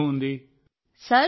మేం గత ఏడాది అలాగే చేశాం